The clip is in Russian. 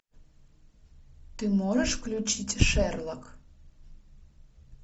ты можешь включить шерлок